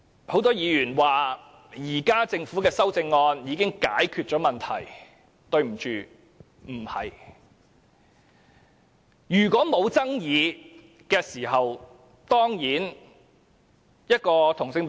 很多議員說政府現時的修正案已經解決問題，但對不起，事實並非如此。